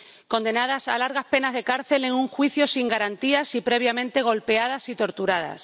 Condenadas a largas penas de cárcel en un juicio sin garantías y previamente golpeadas y torturadas.